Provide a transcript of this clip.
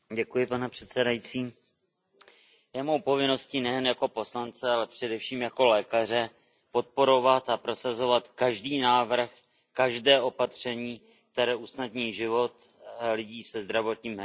Je mou povinností nejen jako poslance, ale především jako lékaře podporovat a prosazovat každý návrh, každé opatření, které usnadní život lidem se zdravotním handicapem.